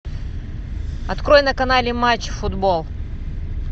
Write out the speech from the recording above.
открой на канале матч футбол